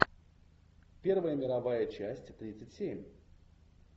первая мировая часть тридцать семь